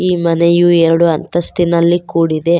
ಈ ಮನೆಯು ಎರಡು ಅಂತಸ್ತಿನಲ್ಲಿ ಕೂಡಿದೆ.